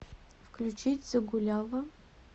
включить загуляла